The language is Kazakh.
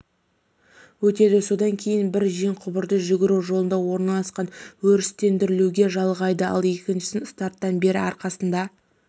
өтеді содан кейін бір жеңқұбырды жүгіру жолағында орналасқан өрістетілуге жалғайды ал екіншісін старттан бері арқасында